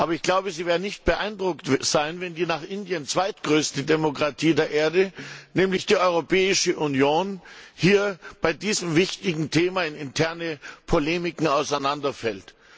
Ich glaube aber, sie werden nicht beeindruckt sein, wenn die nach Indien zweitgrößte Demokratie der Erde nämlich die Europäische Union hier bei diesem wichtigen Thema in interne Polemiken auseinanderfällt....